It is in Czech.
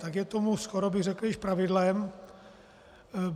Tak je tomu, skoro bych řekl, již pravidlem.